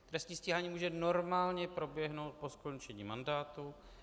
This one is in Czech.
Trestní stíhání může normálně proběhnout po skončení mandátu.